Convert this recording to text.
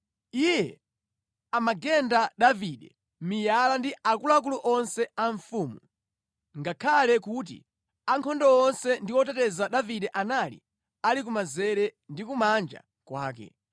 Iye amagenda Davide miyala ndi akuluakulu onse a mfumu, ngakhale kuti ankhondo onse ndi oteteza Davide anali ali kumanzere ndi kumanja kwake.